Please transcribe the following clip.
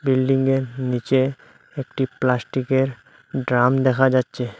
বিল্ডিংয়ের নীচে একটি প্লাস্টিকের ড্রাম দেখা যাচ্ছে।